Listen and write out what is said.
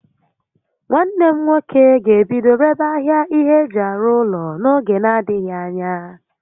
Nwanne m nwoke ga-ebido rebe ahịa ihé eji arụ ụlọ n'oge n'adịghị ányá